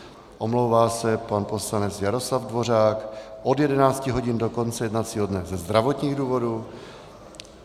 Omlouvá se pan poslanec Jaroslav Dvořák od 11 hodin do konce jednacího dne ze zdravotních důvodů.